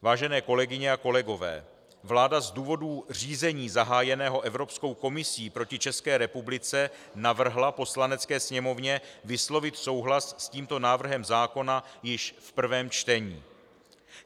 Vážené kolegyně a kolegové, vláda z důvodu řízení zahájeného Evropskou komisí proti České republice navrhla Poslanecké sněmovně vyslovit souhlas s tímto návrhem zákona již v prvém čtení.